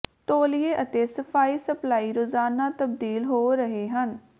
ਤੌਲੀਏ ਅਤੇ ਸਫਾਈ ਸਪਲਾਈ ਰੋਜ਼ਾਨਾ ਤਬਦੀਲ ਹੋ ਰਹੇ ਹਨ